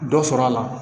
Dɔ sɔrɔ a la